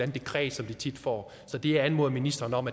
dekret som de tit får så det jeg anmoder ministeren om